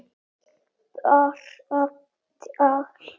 Bara tal.